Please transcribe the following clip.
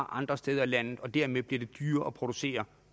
andre steder i landet og dermed bliver det dyrere at producere